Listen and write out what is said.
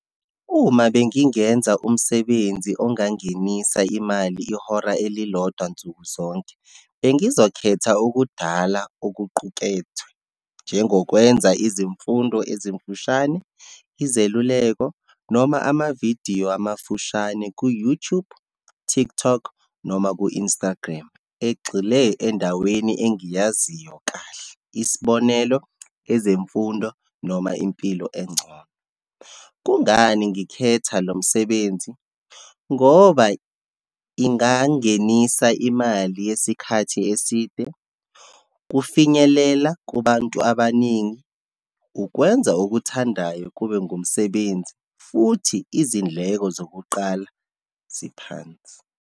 Uma bengingenza umsebenzi ongangenisa imali ihora elilodwa nsuku zonke, bengizokhetha ukudala okuqukethwe, njengokwenza izimfundo ezimfushane, izeluleko noma amavidiyo amafushane ku-YouTube, TikTok noma ku-Instagram egxile endaweni engiyaziyo kahle. Isibonelo, ezemfundo noma impilo engcono. Kungani ngikhetha lo msebenzi? Ngoba ingangenisa imali yesikhathi eside, kufinyelela kubantu abaningi, ukwenza okuthandayo kube ngumsebenzi, futhi izindleko zokuqala ziphansi.